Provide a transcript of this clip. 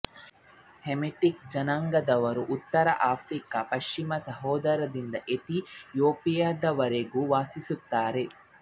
Hamitic ಜನಾಂಗದವರು ಉತ್ತರ Africa ಪಶ್ಚಿಮ ಸಹರಾದಿಂದ ಎಥಿಯೋಪಿಯದವರೆಗೂ ವಾಸಿಸುತ್ತಾರೆ